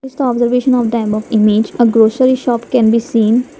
here is the observation of the above image a grocery shop can be seen.